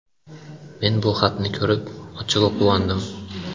Men bu xatni ko‘rib, ochig‘i, quvondim.